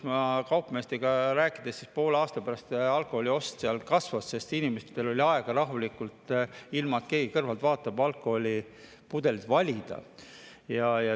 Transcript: Ma olen kaupmeestega rääkides, et pool aastat pärast alkoholiost kasvas, sest inimestel on aega sealt rahulikult, ilma et keegi kõrvalt vaataks, alkoholipudeleid valida.